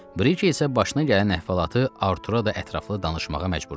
Briki isə başına gələn əhvalatı Artura da ətraflı danışmağa başladı.